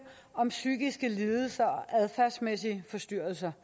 om psykiske lidelser og adfærdsmæssige forstyrrelser